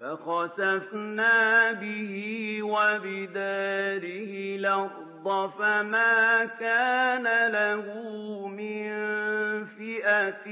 فَخَسَفْنَا بِهِ وَبِدَارِهِ الْأَرْضَ فَمَا كَانَ لَهُ مِن فِئَةٍ